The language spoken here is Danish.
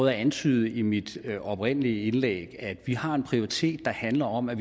jeg antydede i mit oprindelige indlæg at vi har en prioritet der handler om at